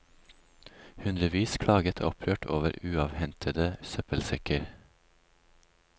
Hundrevis klaget opprørt over uavhentede søppelsekker.